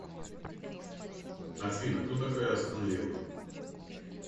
афина кто такая астон вилла